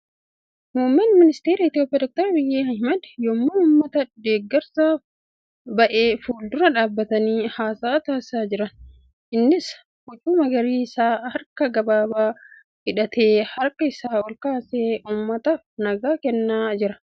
Muummeen ministara Itiyoophiyaa Dr. Abiyyi Ahmad yemmuu uummata deeggarsaaf ba'e fuuldura dhaabbatanii haasa'a taasisaa jiran. Innis huccuu magariisa harka gabaabaa hidhatee harka isaa ol kaasee uummataaf nagaa kenna jira .